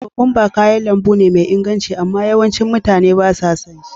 Kokwamba kayan lambu ne mai inganci amma yawasu mutane ba su son shi.